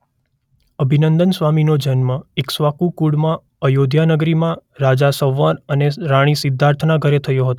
અભિનંદન સ્વામીનો જન્મ ઈક્ષ્વાકુ કુળમાં આયોધ્યા નગરીમાં રાજા સંવર અને રાણી સિદ્ધાર્થના ઘેર થયો હતો.